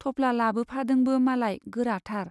थफ्ला लाबोफादोंबो नालाय, गोराथार।